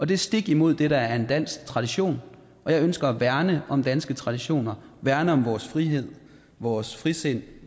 det er stik imod det der er dansk tradition og jeg ønsker at værne om danske traditioner værne om vores frihed vores frisind